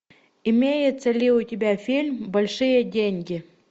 имеется ли у тебя фильм большие деньги